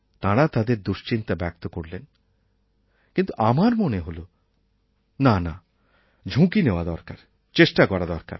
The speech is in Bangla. তাঁরা তাঁদের দুশ্চিন্তা ব্যক্ত করলেন কিন্তু আমার মনে হল নানা ঝুঁকি নেওয়া দরকার চেষ্টা করা দরকার